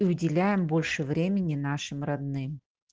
выделяем больше времени нашим родным